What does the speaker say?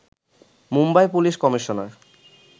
Mumbai police commissioner